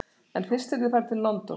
En fyrst yrði farið til London þar sem